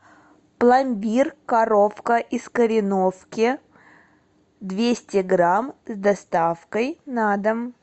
пломбир коровка из кореновки двести грамм с доставкой на дом